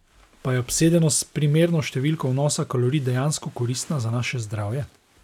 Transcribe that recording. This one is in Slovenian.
Pa je obsedenost s primerno številko vnosa kalorij dejansko koristna za naše zdravje?